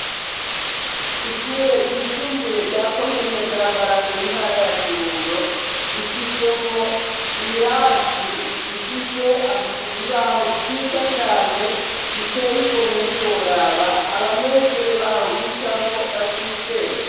Ishure ryisumbuye rya ko mine bwa mbara nge intara ya kirundo rifisemwo ibirasi bifise ibibaho vyiza cane biteye igomwe ntiworaba abanyeshure baho bigamwo baca iye ubwenge.